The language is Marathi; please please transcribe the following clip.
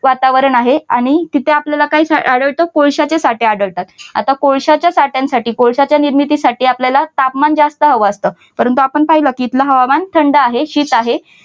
वातावरण आहे आणि तिथे आपल्याला काय आढळते? कोळशाचे साठे आढळतात. आता कोळशाच्या साठ्यासाठी कोळशाच्या निर्मितीसाठी आपल्याला तापमान जास्त हवं असत. परंतु आपण पाहिलं की इथलं हवामान थंड आहे. शीत आहे.